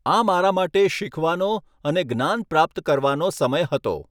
આ મારા માટે શીખવાનો અને જ્ઞાન પ્રાપ્ત કરવાનો સમય હતો.